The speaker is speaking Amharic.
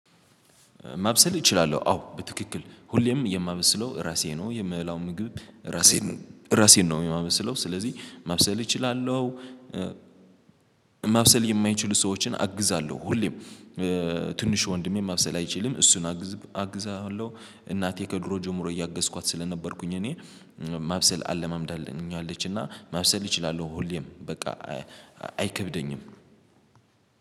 ማብሰል እችላለሁ አዎ በትክክል ሁሌም የማመብስለው ራሴ ነው የምበላው ምግብ ራሴ ነው ራሴን ነው የማብስለው ስለዚህ ማብሰል እችላለሁ። ማብሰል የማይችሉ ሰዎችን አግዛለሁ ሁሌም። ትንሽ ወንድሜ ማብሰል አይችልም እሱን አግዝ አግዛለሁ እናቴ ከድሮ ጀምሮ እያገዝኳት ስለነበርኩኝ እኔ። ማብሰል አለማምደኛለች እና ማብሰል እችላለሁ ሁሌም በቃ አይከብደኝም።